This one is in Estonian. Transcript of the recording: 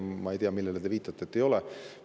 Ma ei tea, millele te viitate, et ei ole.